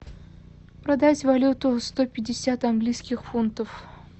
продать валюту сто пятьдесят английских фунтов